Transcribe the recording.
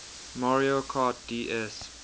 mario kart ds